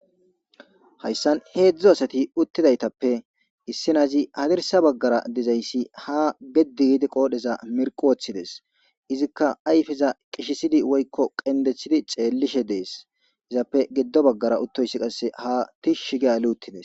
Hayssan heedzdzu asati uttidaytappe issinazi hadirsa baggara dizayssi ha geddigiidi qoodheza mirq wooththides izikka ayfeza qishisidi woykko qendeththidi ceellishe dees izappe giddo baggara uttoyssi qasse ha tishshi gea luuttides.